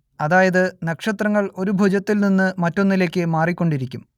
അതായത് നക്ഷത്രങ്ങൾ ഒരു ഭുജത്തിൽ നിന്ന് മറ്റൊന്നിലേക്ക് മാറിക്കൊണ്ടിരിക്കും